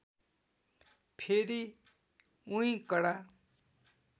फेरि उही कडा